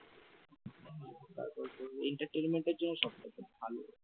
তারপরে তোর entertainment র জন্য সবথেকে ভালো।